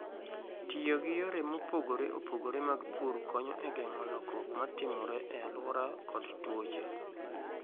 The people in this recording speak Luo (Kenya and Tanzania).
Tiyo gi yore mopogore opogore mag pur konyo e geng'o lokruok ma timore e alwora kod tuoche.